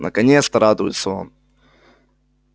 наконец-то радуется он